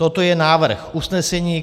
Toto je návrh usnesení.